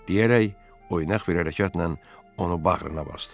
deyərək oynaq bir hərəkətlə onu bağrına basdı.